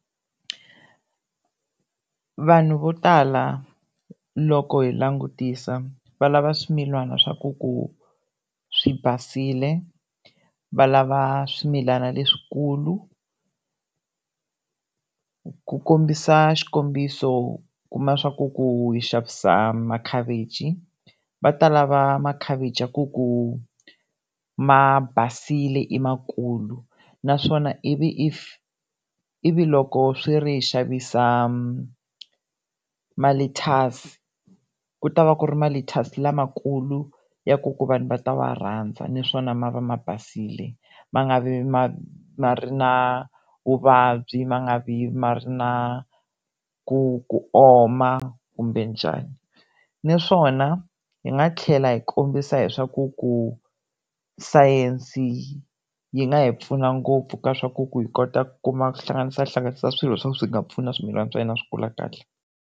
Vanhu vo tala loko hi langutisa, valava swimilana swa ku ku swi basile, valava swimilana leswikulu, ku kombisa xikombiso kuma swa ku ku xavisa ma-cabbage va ta lava ma khavichi ya ku ku ma basile i makulu, naswona if loko swi ri xavisa malethyasi ku ta va ku ri malethyasi lamakulu ya ku ku vanhu va ta va rhandza, naswona ma va ma basile ma nga vi ma ma ri na vuvabyi ma nga vi ma ri na ku ku oma kumbe njhani. Ni swona hi nga tlhela hi kombisa hi swaku ku science yi nga hi pfuna ngopfu ka swaku ku hi kota ku kuma kuhlanganisa hlanganisa swilo swa ku swi nga pfuna swimilana swa yena swi kula kahle.